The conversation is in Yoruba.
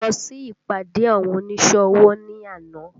Mo lọ sí ìpàdé àwọn oníṣẹ́ ọwọ́ ní àná